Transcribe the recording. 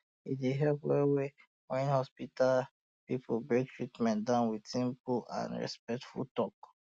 e dey um help wellwell when hospital people break treatment down with simple and and respectful talk